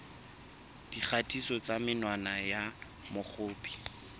dikgatiso tsa menwana ya mokopi